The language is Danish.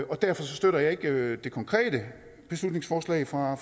og derfor støtter jeg ikke det konkrete beslutningsforslag fra